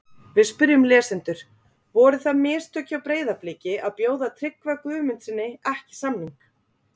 Við spyrjum lesendur: Voru það mistök hjá Breiðabliki að bjóða Tryggva Guðmundssyni ekki samning?